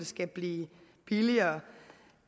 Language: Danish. skal blive billigere